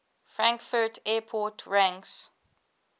frankfurt airport ranks